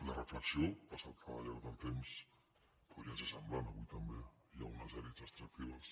la reflexió passat el llarg del temps podria ser sem·blant avui també hi ha unes elits extractives